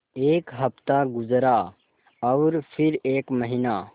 एक हफ़्ता गुज़रा और फिर एक महीना